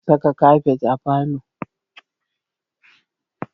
Ana saka kafet a falo